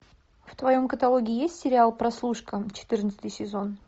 в твоем каталоге есть сериал прослушка четырнадцатый сезон